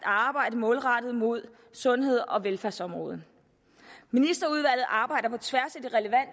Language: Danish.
arbejde målrettet mod sundheds og velfærdsområdet ministerudvalget arbejder på tværs